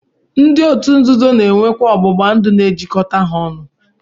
Ndi otu nzuzo na-enwekwa ọgbụgbandụ nke na-ejikọta ha ọnụ